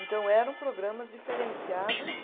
Então eram programas diferenciados